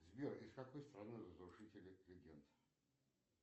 сбер из какой страны разрушители легенд